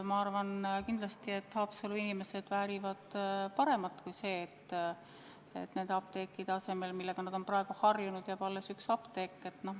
Ma arvan, et Haapsalu inimesed väärivad paremat kui see, et nende apteekide asemel, millega nad on praegu harjunud, jääb alles üks apteek.